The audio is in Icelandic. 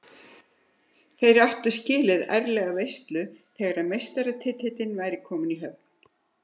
Þeir áttu skilið ærlega veislu þegar meistaratitillinn væri kominn í höfn.